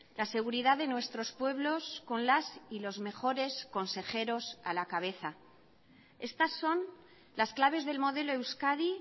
la seguridad de nuestros pueblos con las y los mejores consejeros a la cabeza estas son las claves del modelo euskadi